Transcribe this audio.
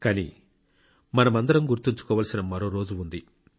కానీ మనమందరం గుర్తుంచుకోవలసిన మరో రోజు ఉంది